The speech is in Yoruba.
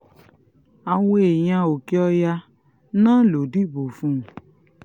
àwọn èèyàn òkè-ọ̀yà náà ló dìbò fún un